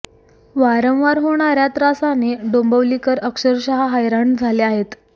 वारंवार होणाऱ्या या त्रासाने डोंबिवलीकर अक्षरशः हैराण झाले आहेत